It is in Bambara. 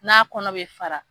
N'a kɔnɔ bɛ fara.